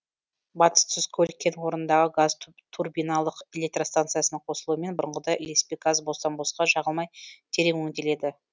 батыс тұзкөл кен орнындағы газ турбиналық электростанциясының қосылуымен бұрынғыдай ілеспе газ бостан босқа жағылмай терең өңделеді